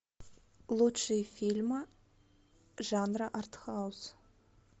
лучшие фильмы жанра арт хаус